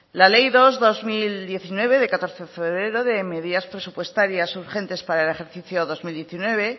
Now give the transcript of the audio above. la ley dos barra dos mil diecinueve de catorce de febrero de medidas presupuestarias urgentes para el ejercicio dos mil diecinueve